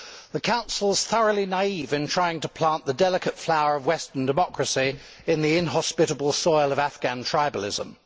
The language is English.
The Council is thoroughly naive in trying to plant the delicate flower of Western democracy in the inhospitable soil of Afghan tribalism.